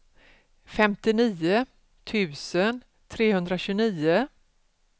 femtionio tusen trehundratjugonio